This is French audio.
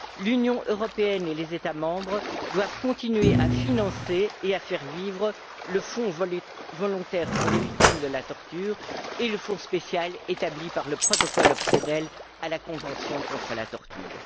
L'Union européenne et les États membres doivent continuer à financer et à faire vivre le fonds volontaire pour les victimes de la torture et le fonds spécial établi par le protocole facultatif à la convention contre la torture.